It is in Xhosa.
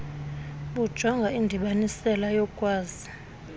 bujonga indibanisela yokukwazi